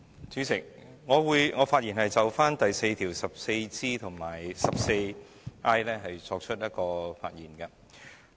主席，我會就第4條所涉及的第 14G 和 14I 條發言。